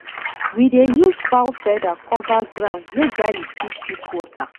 we dey use fowl feather cover ground make garlic fit keep water